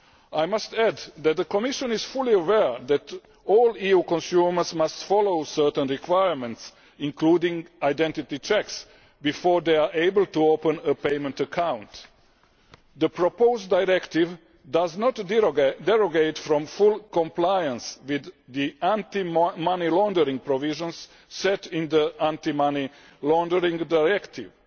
I must add that the Commission is fully aware that all EU consumers must follow certain requirements, including identity checks, before they are able to open a payment account. The proposed directive does not derogate from full compliance with the anti money laundering provisions set in the Anti Money Laundering Directive.